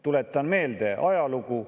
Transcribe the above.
Tuletan meelde ajalugu.